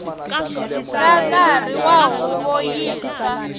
nga nkarhi wa huvo yintshwa